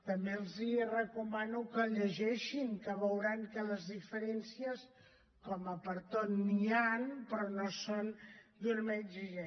també els recomano que el llegeixin que veuran que les diferències com a pertot n’hi han però no són d’una manera exagerada